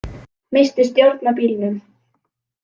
Missti stjórn á bílnum